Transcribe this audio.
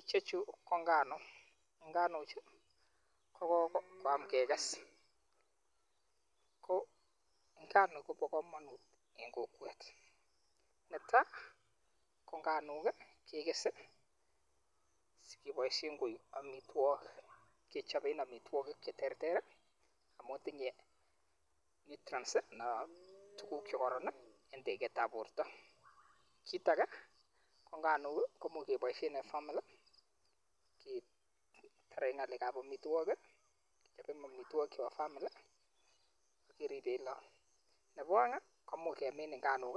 ichechu ko nganuk, nganuchu kokokoam kekes, ko nganuk kobokomonut en kokwet neta ko nganuk kekes sikeboisien koik amitwokik kechoben cheterter amun tinye [csnutrients anaa tukuk chekoron en teketab borto. Kit ake ko nganuk komuch keboisien en famili ketaren ng'alekab amitwokik, kechoben amitwokik chepo famili akeripen lakok ,nepo aeng komuch kemin nganuk